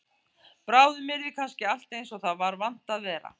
Bráðum yrði kannski allt eins og það var vant að vera.